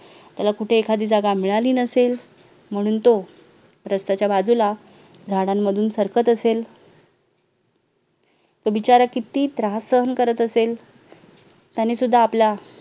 त्याला कुठे एखादी जागा मिळाली नसेल म्हणून तो रस्त्याच्या बाजूला झाडांमधून सरकत असेल तो बिचारा किती त्रास सहन करत असेल त्यांनी सुद्धा आपल्या